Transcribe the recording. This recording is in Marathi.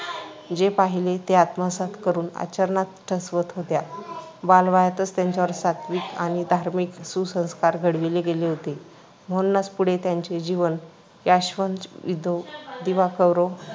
जे पाहिले ते आत्मसात करून आचरणात ठसवत होत्या. बालवयातच त्यांच्यावर सात्त्विक आणि धार्मिक सुसंस्कार घडवले गेले होते. म्हणूनच पुढे त्यांचे जीवन ‘यावश्चंद्र दिवाकरौ’